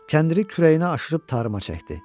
Kəndiri kürəyinə aşırıb tarıma çəkdi.